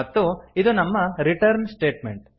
ಮತ್ತು ಇದು ನಮ್ಮ ರಿಟರ್ನ್ ಸ್ಟೇಟ್ಮೆಂಟ್